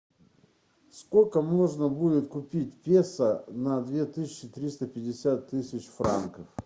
сколько можно будет купить песо на две тысячи триста пятьдесят тысяч франков